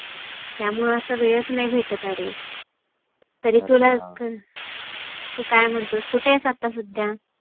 त्यामुळ असा वेळच नाही भेटत आरे तरी तुला तु काय म्हणतोस? कुठे आहेस आता सध्या?